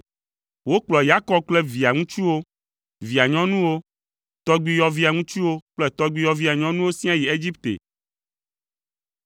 Wokplɔ Yakob kple via ŋutsuwo, via nyɔnuwo, tɔgbuiyɔvia ŋutsuwo kple tɔgbuiyɔvia nyɔnuwo siaa yi Egipte.